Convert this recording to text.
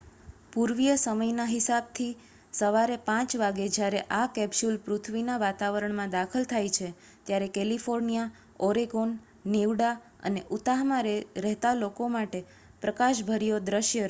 પૂર્વીય સમય ના હિસાબ થી સવારે 5 વાગે જયારે આ કેપ્સ્યુલ પૃથ્વીના વાતાવરણ માં દાખલ થાઈ છે ત્યારે કેલિફોર્નિયા ઓરેગોન નીવડા અને ઉતાહમાં રહેતા લોકો માટે પ્રકાશભર્યો દ્રિશ્ય રજુ કરે છે